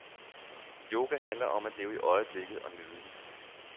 Yoga handler om at leve i øjeblikket og nyde det.